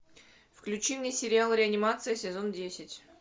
включи мне сериал реанимация сезон десять